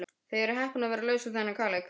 Þið eruð heppin að vera laus við þann kaleik.